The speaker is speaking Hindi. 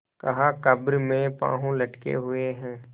कहाकब्र में पाँव लटके हुए हैं